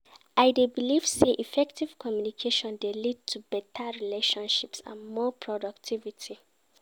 I dey believe say effective communication dey lead to beta relationships and more productivity.